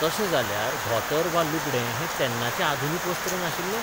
तशें जाल्यार धोतर बा लुगडें हैं तेन्नाचें आधुनीक वस्त्र नाशिल्ले?